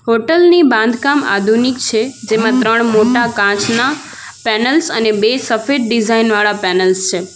હોટલની બાંધકામ આધુનિક છે જેમાં ત્રણ મોટા કાચના પેનલ્સ અને બે સફેદ ડિઝાઇન વાળા પેનલ્સ છે.